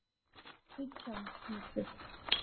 Nítján hundruð